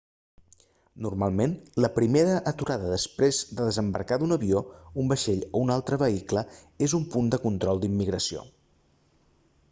normalment la primera aturada després de desembarcar d'un avió un vaixell o un altre vehicle és un punt de control d'immigració